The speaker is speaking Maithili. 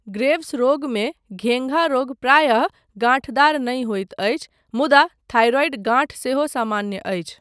ग्रेव्स रोगमे घेंघा रोग प्रायः गांठदार नहि होइत अछि, मुदा थाइरॉइड गांठ सेहो सामान्य अछि।